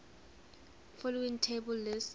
following table lists